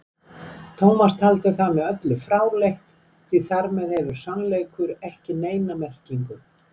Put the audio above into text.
Tómas taldi það með öllu fráleitt, því þar með hefði sannleikur ekki neina merkingu.